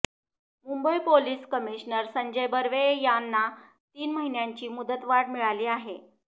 Mumbai police commissioner Sanjay Barve यांना तीन महिन्यांची मुदतवाढ मिळाली आहे